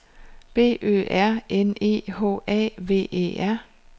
B Ø R N E H A V E R